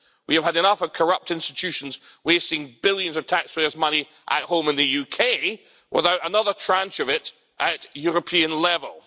We have had enough of corrupt institutions wasting billions of taxpayers' money at home in the UK without another tranche of it at European level.